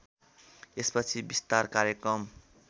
यसपछि विस्तार कार्यक्रम